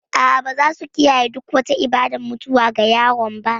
A'a, ba za su kiyaye duk wata ibadar mutuwa ga yaron ba.